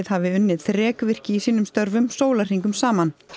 hafi unnið þrekvirki í sínum störfum sólahringum saman